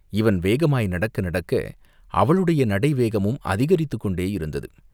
இவன் வேகமாய் நடக்க நடக்க அவளுடைய நடை வேகமும் அதிகரித்துக் கொண்டே இருந்தது.